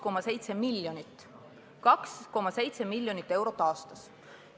See on 2,7 miljonit eurot aastas.